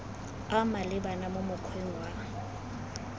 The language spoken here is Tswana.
a maleba mo mokgweng wa